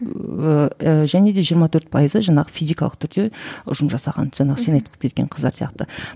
ыыы және де жиырма төрт пайызы жаңағы физикалық түрде ұжым жасаған жаңағы сен айтып кеткен қыздар сияқты